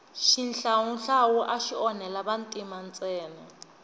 xihlawuhlawu axi onhela vantima ntsena